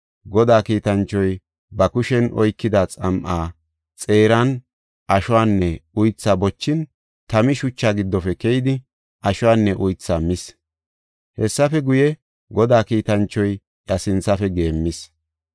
Godaa kiitanchoy ba kushen oykida xam7aa xeeran ashuwanne uythaa bochin tami shuchaa giddofe keyidi, ashuwanne uythaa mis. Hessafe guye, Godaa kiitanchoy iya sinthafe geemmis.